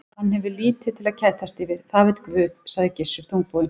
Hann hefur lítið til að kætast yfir, það veit Guð, sagði Gissur þungbúinn.